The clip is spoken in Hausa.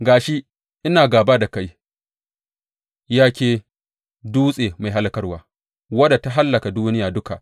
Ga shi, ina gāba da kai, ya ke dutse mai hallakarwa, wadda ta hallaka duniya duka,